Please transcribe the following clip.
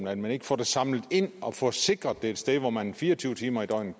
at man ikke får det samlet ind og får sikret det et sted hvor man fire og tyve timer i døgnet